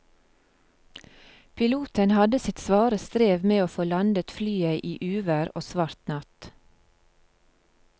Piloten hadde sitt svare strev med å få landet flyet i uvær og svart natt.